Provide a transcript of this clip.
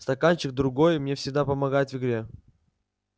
стаканчик другой мне всегда помогает в игре